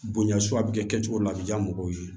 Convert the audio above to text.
Bonya so a bɛ kɛ cogo min la a bɛ diya mɔgɔw ye